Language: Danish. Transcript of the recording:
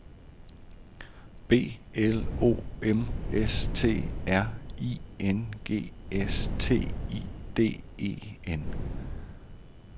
B L O M S T R I N G S T I D E N